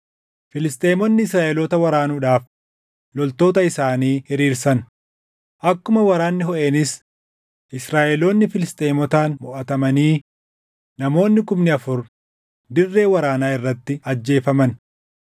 Filisxeemonni Israaʼeloota waraanuudhaaf loltoota isaanii hiriirsan; akkuma waraanni hoʼeenis Israaʼeloonni Filisxeemotaan moʼatamanii namoonni kumni afur dirree waraanaa irratti ajjeefaman.